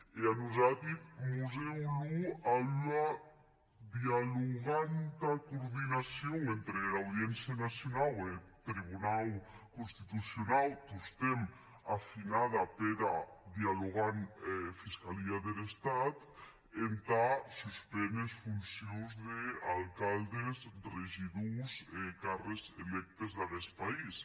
e a nosati mos hè olor a ua dialoganta coordinacion entre era audiéncia nacionau e eth tribunau constitucionau tostemps afinada pera dialoganta fiscalia der estat entà suspéner es foncions d’alcaldes regidors e cargues elegidi d’aguest país